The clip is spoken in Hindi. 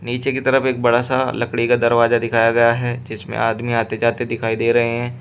नीचे की तरफ एक बड़ासा लकड़ी का दरवाजा दिखाया गया है जिसमें आदमी आते जाते दिखाई दे रहे हैं।